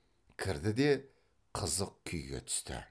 кірді де қызық күйге түсті